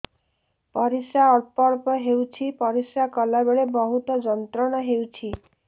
ପରିଶ୍ରା ଅଳ୍ପ ଅଳ୍ପ ହେଉଛି ପରିଶ୍ରା କଲା ବେଳେ ବହୁତ ଯନ୍ତ୍ରଣା ହେଉଛି